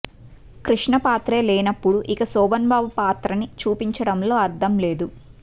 కృష్ణ పాత్రే లేనప్పుడు ఇక శోభన్ బాబు పాత్రనిచూపించడంలో అర్థం లేదు